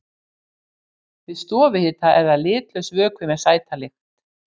Við stofuhita er það litlaus vökvi með sæta lykt.